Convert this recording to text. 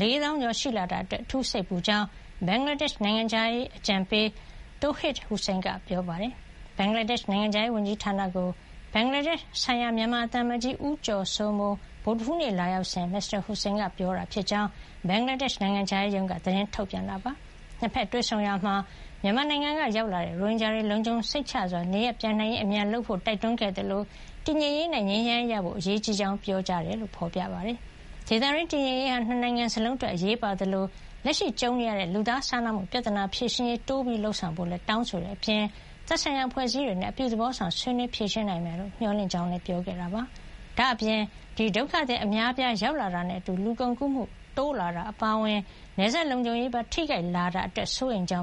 ၄ သောင်းကျော်ရှိလာတာအတွက် အထူးစိတ်ပူကြောင်း ဘင်္ဂလားဒေ့ရှ် နိုင်ငံခြားရေး အကြံပေး Md. Touhid Hossain က ပြောပါတယ်။ ဘင်္ဂလားဒေ့ရှ် နိုင်ငံခြားရေးဝန်ကြီးဌာနကို ဘင်္ဂလားဒေ့ရှ်ဆိုင်ရာ မြန်မာသံအမတ်ကြီး ဦးကျော်စိုးမိုး ဗုဒ္ဓဟူးနေ့ လာရောက်စဉ် Mr Hossain က ပြောခဲ့တာဖြစ်ကြောင်း ဘင်္ဂလားဒေ့ရှ်နိုင်ငံခြားရေးရုံးက သတင်းထုတ်ပြန်ပါတယ်။ ၂ ဘက်တွေ့ဆုံရာမှာ မြန်မာနိုင်ငံကရောက်လာတဲ့ရိုဟင်ဂျာတွေ လုံခြုံစိတ်ချစွာနေရပ်ပြန်နိုင်ရေး အမြန်လုပ်ဆောင်ဖို့တိုက်တွန်းခဲ့သလို တည်ငြိမ်ရေးနဲ့ ငြိမ်းချမ်းရေးရဖို့ အရေးကြီးကြောင်း ပြောကြားခဲ့တယ်လို့ ဖေါ်ပြထားပါတယ်။ ဒေသတွင်းတည်ငြိမ်ရေးဟာ ၂ နိုင်ငံစလုံးအတွက်အရေးပါသလို လက်ရှိကြုံနေရတဲ့ လူသားစာနာမှု ပြဿနာဖြေရှင်းရေးကို တိုးမြှင့်လုပ်ဆောင်ဖို့လည်း တောင်းဆိုခဲ့တဲ့အပြင် သက်ဆိုင်ရာအဖွဲ့အစည်း တွေနဲ့ အပြုသဘောဆောင် ဆွေးနွေးဖြေရှင်းနိုင်မယ်လို့ မျှော်လင့်ကြောင်းလည်း ပြောကြားခဲ့တာပါ။ ဒါ့အပြင် ဒီဒုက္ခသည်အများအပြား ရောက်လာတာနဲ့အတူ လူကုန်ကူးမှုတိုးလာတာအပါအဝင် နယ်စပ်လုံခြုံရေးပါ ထိခိုက်လာတာအတွက် စိုးရိမ်ကြောင်